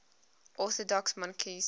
orthodox monarchs